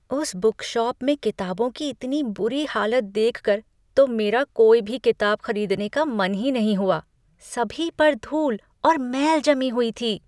उस बुकशॉप में किताबों की इतनी बुरी हालत देखकर तो मेरा कोई भी किताब खरीदने का मन ही नहीं हुआ, सभी पर धूल और मैल जमी हुई थी।